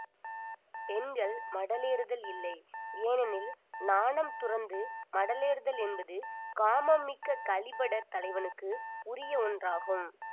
பெண்கள் மடலேறுதல் இல்லை ஏனெனில் நாணம் துறந்து மடலேறுதல் என்பது காமம் மிக்க கழிபடர் தலைவனுக்கு உரிய ஒன்றாகும்